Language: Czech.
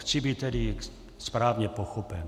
Chci být tedy správně pochopen.